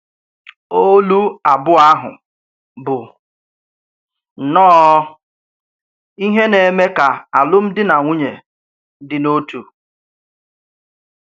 Ọ́lù ábụọ̀ áhù bụ̀ nnọọ́ íhè nà-èmé ka alụ́m̀dí nà nwunyè dì n’òtù.